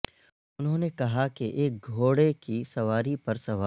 انہوں نے کہا کہ ایک گھوڑے کی سواری پر سوار